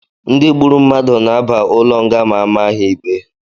Ndị gburu mmadụ na-aba ụlọ nga ma amaá ha ikpe